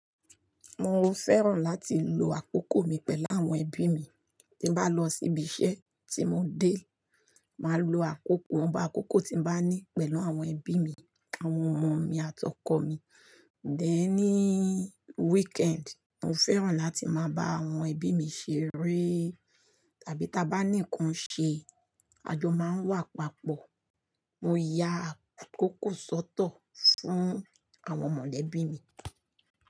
Mo fẹ́ràn láti lo àkókò mi pẹ̀lú àwọn ẹbí mi. Tí bá lọ síbi iṣẹ́ tí mo dé, màá lo àkókò, ìwọnba àkókò tí mo bá ní pẹ̀lú àwọn ẹbí mi, àwọn ọmọ mi àti ọkọ mi. Then ní weekend, mo fẹ́ràn láti máa bá àwọn ẹbí mi ṣeré tàbí ta bá nìkan ṣé àjọ máa ń wà papọ̀. Mo ya àkókò sọ́tọ̀ fún àwọn mọ̀lẹ́bí mi.